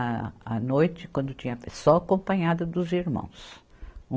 A, à noite, quando tinha, só acompanhado dos irmãos.